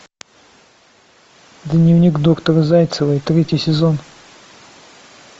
дневник доктора зайцевой третий сезон